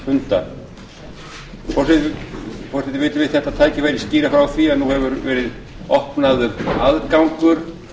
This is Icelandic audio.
forseti vill við þetta tækifæri skýra frá því að nú hefur verið opnaður aðgangur